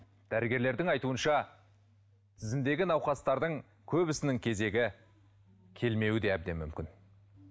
дәрігерлердің айтуынша тізімдегі науқастардың көбісінің кезегі келмеуі де әбден мүмкін